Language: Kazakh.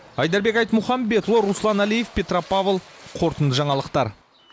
айдарбек айтмұхамбетұлы руслан әлиев петропавл қорытынды жаңалықтар